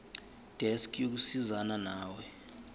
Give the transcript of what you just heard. desk yokusizana nawe